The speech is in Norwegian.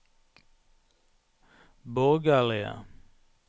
borgerlige